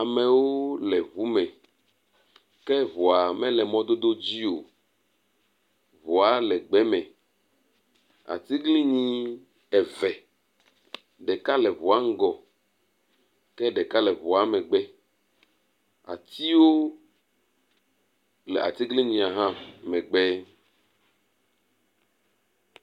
Amewo le ŋu me ke ŋua mele mɔdodo dzi o. Ŋua le gbe me. Atiglinyi eve, ɖeka le ŋua ŋgɔ ke ɖeka le ŋua megbe. Atiwo le atiglinyia hã megbe.